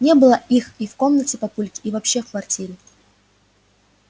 не было их и в комнате папульки и вообще в квартире